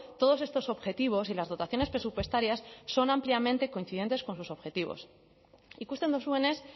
todos estos objetivos y las dotaciones presupuestarias son ampliamente coincidentes con sus objetivos ikusten duzuenez